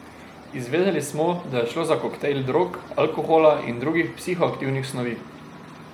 Izvedeli smo, da je šlo za koktajl drog, alkohola in drugih psihoaktivnih snovi.